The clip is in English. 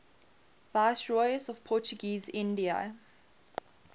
viceroys of portuguese india